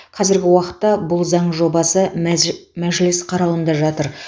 қазіргі уақытта бұл заң жобасы мәзж мәжіліс қарауында жатыр